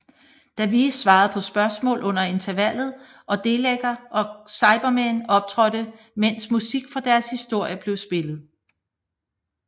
Davies svarede på spørgsmål under intervallet og Dalekker og Cybermænd optrådte mens musik fra deres historier blev spillet